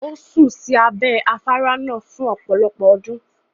Ó sùn sí abẹ́ afárá náà fún ọ̀pọ̀lọpọ̀ ọdún.